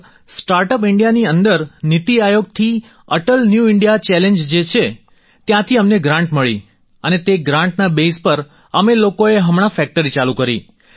sir startup ઈન્ડિયાની અંદર નીતિ આયોગથી અટલ ન્યૂ ઈન્ડિયા ચેલેન્જ જે છે ત્યાંથી અમને ગ્રાન્ટ મળી અને તે ગ્રાન્ટના બેઝ પર અમે લોકોએ હમણાં ફેક્ટરી ચાલુ કરી